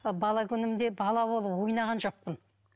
бала күнімде бала болып ойнаған жоқпын